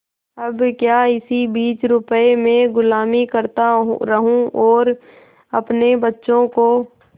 अब क्या इसी बीस रुपये में गुलामी करता रहूँ और अपने बच्चों को